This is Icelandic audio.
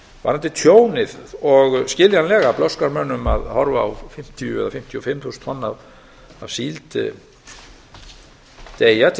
varðandi tjónið og skiljanlega blöskrar mönnum að horfa á fimmtíu eða fimmtíu og fimm þúsund tonn af síld deyja til